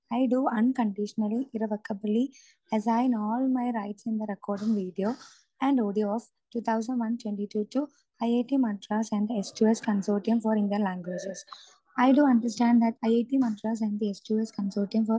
speaker 2 I to unconditionally irrevocably as I know all my right in the recording video and audio of 2001-22 to I I T Madras and S to S consorting I to unconditionally irrevocably as I know all my right in the recording video and audio of 2001-22 to I I T Madras and S to S consorting for Indian languages I to understand that I I T Madras and S to S consorting